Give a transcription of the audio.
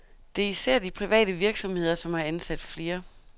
Det er især de private virksomheder, som har ansat flere.